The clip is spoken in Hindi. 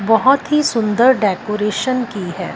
बहोत ही सुंदर डेकोरेशन की है।